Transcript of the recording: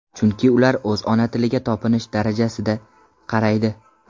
Chunki ular o‘z ona tiliga topinish darajasida qaraydi.